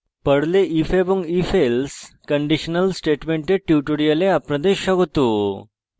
পর্লে if এবং ifelse conditional স্টেটমেন্টের tutorial আপনাদের স্বাগত